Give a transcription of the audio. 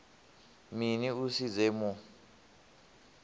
mini u si dze mu